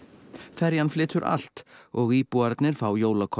ferjan flytur allt og íbúarnir fá